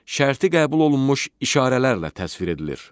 Şərti qəbul olunmuş işarələrlə təsvir edilir.